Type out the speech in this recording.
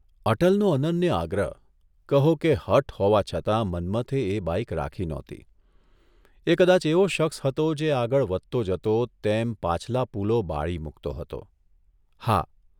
અટલનો અનન્ય આગ્રહ, કહો કે હઠ હોવા છતાં મન્મથે એ બાઇક રાખી નહોતી, એ કદાચ એવો શખ્સ હતો જે આગળ વધતો જતો તેમ પાછલા પુલો બાળી મૂકતો હતો. હા